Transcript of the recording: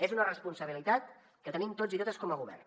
és una responsabilitat que tenim tots i totes com a govern